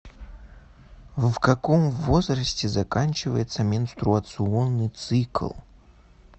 в каком возрасте заканчивается менструационный цикл